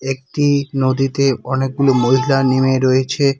একটি নদীতে অনেকগুলো মহিলা নেমে রয়েছে।